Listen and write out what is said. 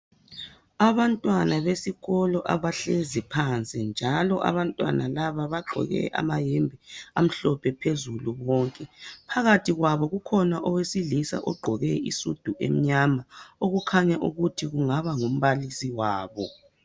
Abantwana besikolo abahlezi phansi, njalo abantwana laba bagqoke amayembe amhlophe phezulu bonke. Phakathi kwabo kukhona owesilisa ogqoke isudu emnyama, okukhanya ukuthi kungaba ngumbalisi wabo.